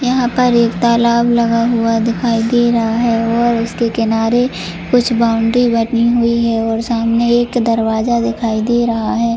यहां पर एक तालाब लगा हुआ दिखाई दे रहा है और उसके किनारे कुछ बाउंड्री बनी हुई है और सामने एक दरवाजा दिखाई दे रहा है।